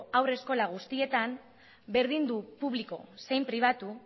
haurreskola guztietan berdin du publiko zein pribatu